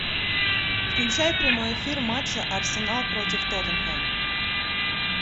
включай прямой эфир матча арсенал против тоттенхэм